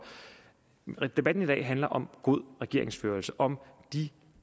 debatten i dag handler om god regeringsførelse om de